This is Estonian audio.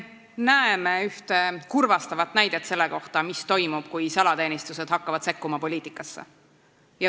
Me näeme ühte kurvastavat näidet selle kohta, mis toimub, kui salateenistused hakkavad sekkuma poliitikasse.